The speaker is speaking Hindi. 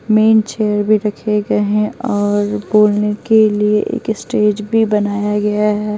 मेन चेयर भी रखे गए हैं और बोलने के लिए एक स्टेज भी बनाया गया है।